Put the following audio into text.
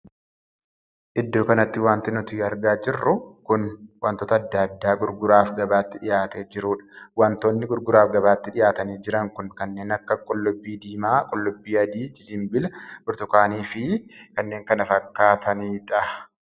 Iddoo kanatti wanti nuti argaa jirru kun wantoota addaa addaa gurguraaf gabaatti dhihaatee jirudha. wantoonni gurguraaf gabaatti dhihaatanii jiran kun kanneen akka qullubbii diimaa, qubbii adii, jijinbila, burtukaanii fi kanneen kana fakkaatanidha.